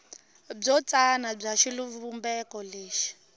byo tsana bya xivumbeko lexi